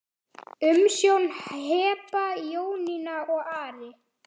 Umsjón Heba, Jónína og Ari.